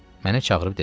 Mənə çağırıb dedi: